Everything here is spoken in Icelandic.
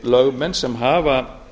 lögmenn sem hafa